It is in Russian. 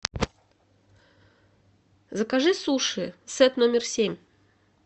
закажи суши сет номер семь